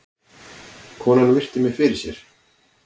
Konan virti mig fyrir sér.